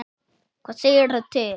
Hvað segirðu til?